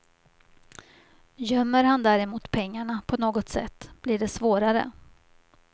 Gömmer han däremot pengarna på något sätt blir det svårare.